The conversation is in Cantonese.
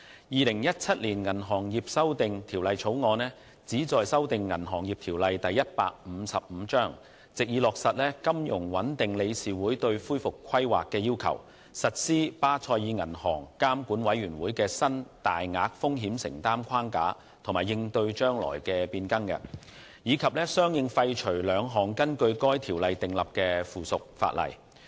《2017年銀行業條例草案》旨在修訂《銀行業條例》，藉以落實金融穩定理事會對恢復規劃的要求、實施巴塞爾銀行監管委員會的新大額風險承擔框架及應對將來的變更，以及相應廢除兩項根據《銀行業條例》訂立的附屬法例。